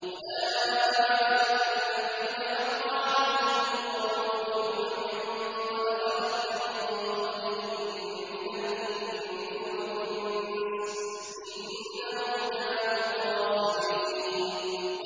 أُولَٰئِكَ الَّذِينَ حَقَّ عَلَيْهِمُ الْقَوْلُ فِي أُمَمٍ قَدْ خَلَتْ مِن قَبْلِهِم مِّنَ الْجِنِّ وَالْإِنسِ ۖ إِنَّهُمْ كَانُوا خَاسِرِينَ